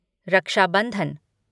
रक्षा बंधन